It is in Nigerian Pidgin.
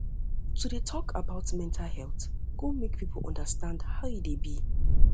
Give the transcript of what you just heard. to dey tok um about mental health um go make people understand how e dey be um